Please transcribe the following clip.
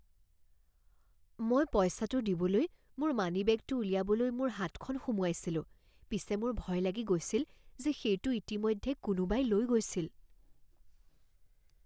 মই পইচাটো দিবলৈ মোৰ মানিবেগটো উলিয়াবলৈ মোৰ হাতখন সোমোৱাইছিলোঁ। পিছে মোৰ ভয় লাগি গৈছিল যে সেইটো ইতিমধ্যে কোনোবাই লৈ গৈছিল!